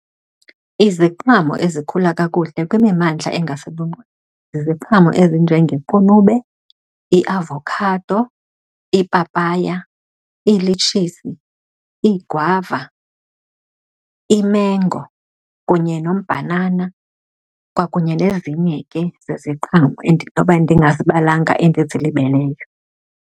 Iziqhamo ezikhula kakuhle kwimimandla ziziqhamo ezinjengequnube, iiavokhado, iipapaya, iilitshizi, iigwava, imengo, kunye nombhanana, kwakunye nezinye ke zeziqhamo endinoba ndingazibalanga endizilibeleyo.